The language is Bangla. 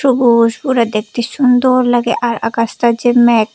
দেখতে সুন্দর লাগে আর আকাশটা যে ম্যাগ।